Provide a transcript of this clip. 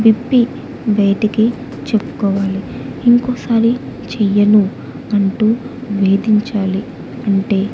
వ్యక్తి బయటికి చెప్పుకోవాలి ఇంకోసారి చేయ్యను అంటూ వేదించాలి అంటే--